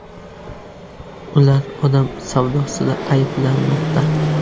Ular odam savdosida ayblanmoqda.